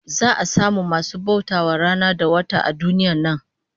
Za'a samu masu bauta wa rana da wata a duniyar nan